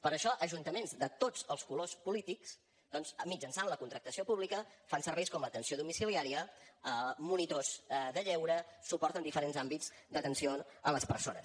per això ajuntaments de tots els colors polítics doncs mitjançant la contractació pública fan serveis com l’atenció domiciliària monitors de lleure suport en diferents àmbits d’atenció a les persones